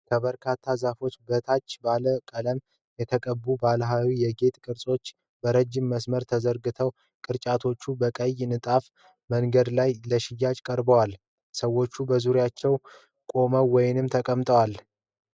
ከበርካታ ዛፎች በታች ባለ ቀለም የተቀቡ ባህላዊ የጌጥ ቅርጫቶች በረጅም መስመር ተዘርግተዋል። ቅርጫቶቹ በቀይ ንጣፍ መንገድ ላይ ለሽያጭ ቀርበዋል። ሰዎች በዙሪያው ቆመው ወይም ተቀምጠዋል።